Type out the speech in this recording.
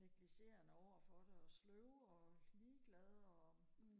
negligerende overfor det og sløve og ligeglade og